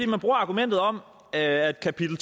man bruger argumentet om at kapitel